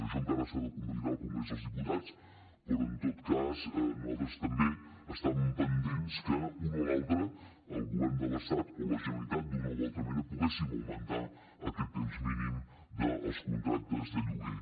això encara s’ha de convalidar al congrés dels diputats però en tot cas nosaltres també estàvem pendents que un o l’altre el govern de l’estat o la generalitat d’una o altra manera poguéssim augmentar aquest temps mínim dels contractes de lloguer